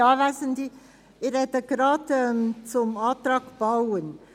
Ich spreche zuerst zum Antrag Bauen.